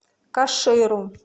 каширу